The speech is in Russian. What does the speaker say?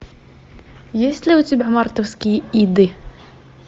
есть ли у тебя мартовские иды